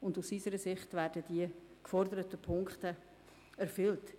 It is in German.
Aus unserer Sicht werden die geforderten Punkte erfüllt.